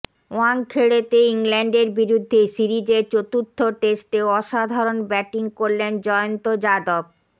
ওয়াংখেড়েতে ইংল্যান্ডের বিরুদ্ধে সিরিজের চতুর্থ টেস্টে অসাধারণ ব্যাটিং করলেন জয়ন্ত যাদব